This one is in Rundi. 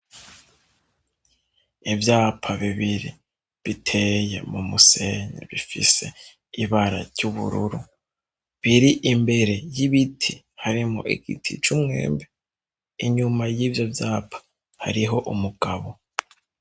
Ivyapa bibiri biteye mu musenyi bifise ibara ry'ubururu, biri imbere y'ibiti harimwo igiti c'umwembe. Inyuma y'ivyo vyapa hariho umugabo.